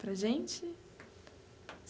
Para a gente?